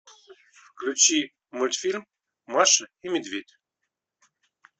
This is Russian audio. включи мультфильм маша и медведь